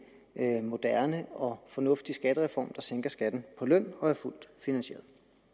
en moderne og fornuftig skattereform der sænker skatten på løn og er fuldt finansieret